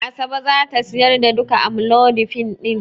Asabe za ta sayar da duka amlodipine din.